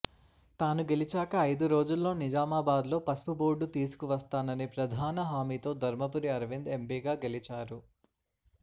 తాను గెలిచాక ఐదు రోజుల్లో నిజామాబాద్లో పసుపు బోర్డు తీసుకువస్తాననే ప్రధాన హామీతో ధర్మపురి అర్వింద్ ఎంపీగా గెలిచారు